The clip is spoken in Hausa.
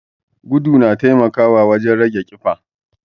Gudu na taimakawa wajen rage teɓa.